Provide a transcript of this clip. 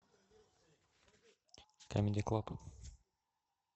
камеди клаб